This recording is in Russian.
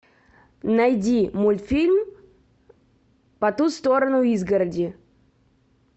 найди мультфильм по ту сторону изгороди